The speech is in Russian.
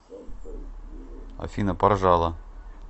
афина поржала